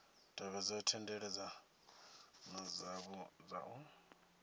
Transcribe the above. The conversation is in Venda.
tevhedze thendelano dzavho dza u